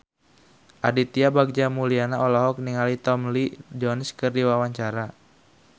Aditya Bagja Mulyana olohok ningali Tommy Lee Jones keur diwawancara